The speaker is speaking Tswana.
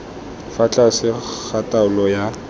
fa tlase ga taolo ya